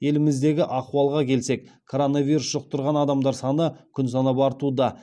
еліміздегі ахуалға келсек коронавирус жұқтырған адамдар саны күн санап артуда